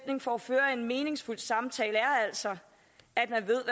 for at føre en meningsfyldt samtale er altså at man ved